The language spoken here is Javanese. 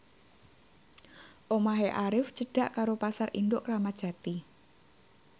omahe Arif cedhak karo Pasar Induk Kramat Jati